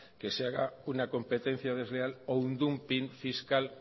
que se haga una competencia desleal o un dumping fiscal